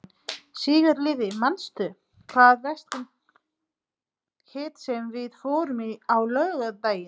Sigurliði, manstu hvað verslunin hét sem við fórum í á laugardaginn?